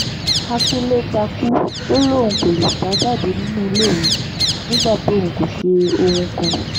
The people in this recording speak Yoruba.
àkínńlé takú ò lóun kò lè sá jáde nínú ilé òun nígbà tóun kò ṣe ohun kan